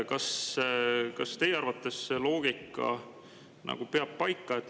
Kas teie arvates see loogika peab paika?